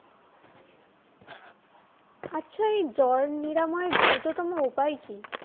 জ্বর নিরাময়ের দ্রুততম উপায় কী?